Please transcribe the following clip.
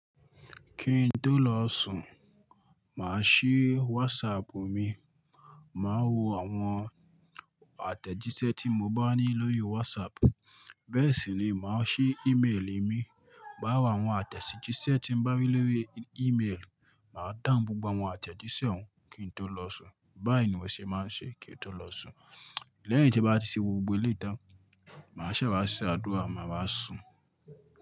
Kí n tó lọ sùn, mà á ṣí WhatsApp mi, mà á wo àwọn àtẹ̀jíṣẹ́ tí mo bá ní lórí WhatsApp. Bẹ́ẹ̀ sì ni, mà á ṣí email mi. Má wo àwọn àtẹ̀jíṣẹ́ tí ń bá ní lórí email, mà á dáhun gbogbo àwọn àtẹ̀jíṣẹ́ oun kí n tó lọ sùn. Báyìí ni mo ṣe máa ń ṣe kí n tó lọ sùn. Lẹ́yìn tí bá ti ṣe gbogbo eléyi tan, mà á ṣẹ̀ wá ṣe àdúrà, mà á wá sùn.